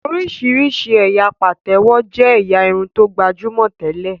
Oríṣiríṣi ẹyà Patewo jé ẹ̀yà Irun tó gbajúmọ̀ tẹlẹ.